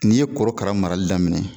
N'i ye korokara marali daminɛ.